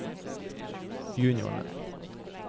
juniorene